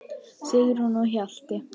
Sigrún og Hjalti.